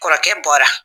Kɔrɔkɛ bɔra